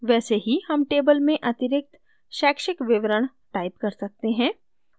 वैसे ही हम table में अतिरिक्त शैक्षिक विवरण type कर सकते हैं